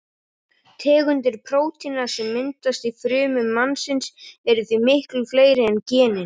Tegundir prótína sem myndast í frumum mannsins eru því miklu fleiri en genin.